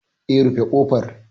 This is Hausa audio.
Eh, rufe ƙofar.